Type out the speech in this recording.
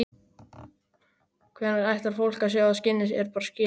Hvenær ætlar fólk að sjá að skinnið er bara skinn?